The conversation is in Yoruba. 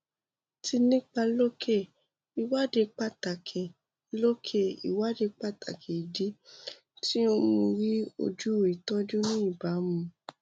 ti nipa loke iwadi pataki loke iwadi pataki idi ti o um ri ju itọju ni ibamu